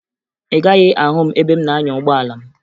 Ị gaghị ahụ m ebe m na-anya ụgbọala m